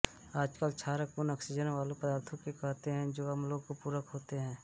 आजकल क्षारक उन आक्सीजन वाले पदार्थों को कहते हैं जो अम्लों के पूरक होते हैं